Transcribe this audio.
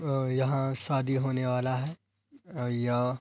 और यहाँ शादी होने वाला है और य --